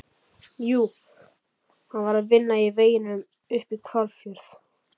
Jú, hann var að vinna í veginum upp í Hvalfjörð.